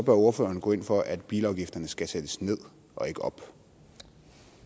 ordføreren gå ind for at bilafgifterne skal sættes ned